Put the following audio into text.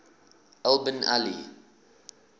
al bin ali